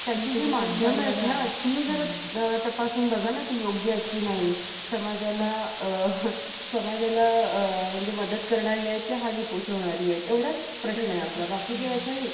एकदा काही दुष्ट ब्राह्मणाने, संत एकनाथाची परीक्षा घेण्यासाठी, व त्यांना क्रोधीत करण्यासाठी, एका व्यक्तीला पाठवले. तो व्यक्ती संत एकनाथाच्या घरी जाऊन, त्याच्या पाठीवर चढून बसला.